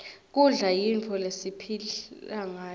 kudla yintfo lesipihla ngayo